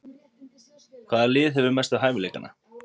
Hvaða lið hefur mestu hæfileikana?